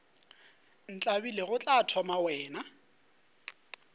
ntlabile go tla thoma wena